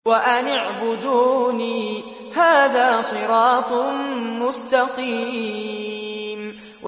وَأَنِ اعْبُدُونِي ۚ هَٰذَا صِرَاطٌ مُّسْتَقِيمٌ